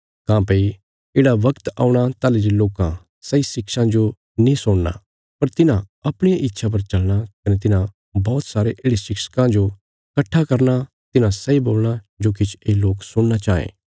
काँह्भई येढ़ा बगत औणा ताहली जे लोकां सही शिक्षां जो नीं सुणना पर तिन्हां अपणिया इच्छा पर चलना कने तिन्हां बौहत सारे येढ़े शिक्षकां जो कट्ठा करना तिन्हां सैई बोलणा जो किछ ये लोक सुणना चांये